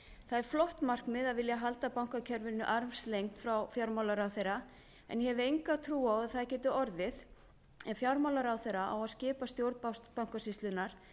það er flott markmið að vilja halda bankakerfinu armslengd frá fjármálaráðherra en ég hef enga trú á að það geti orðið ef fjármálaráðherra á að skipa stjórn bankasýslunnar